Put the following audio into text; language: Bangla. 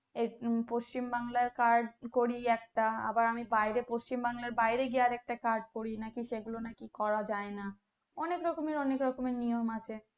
এর পশ্চিমবাংলার card করি একটা আবার আমি বাইরে পশ্চিমবাংলার বাইরে গিয়ে আরেকটা card করি নাকি সেগুলো নাকি করা যায়না অনেক রকমের অনেক রকমের নিয়ম আছে